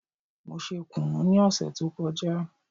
Mo ṣe kùnú ní òsè tó kọjá